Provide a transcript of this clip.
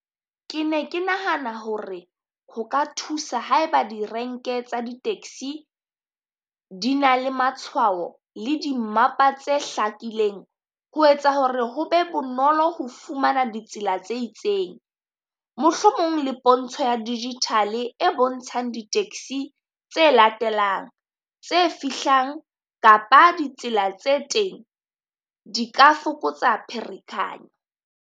Ke ne ke nahana hore ho ka thusa haeba di renke tsa di taxi di na le matshwao le dimmapa tse hlakileng, ho etsa hore ho be bonolo ho fumana ditsela tse itseng. Mohlomong le pontsho ya digital e bontshang di taxi tse latelang, tse fihlang, kapa ditsela tse teng, di ka fokotsa pherekanyo.